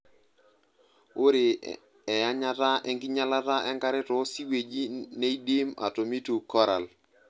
Ore eyanyata enkinyalata enkare too siweji neidim atomitu koral.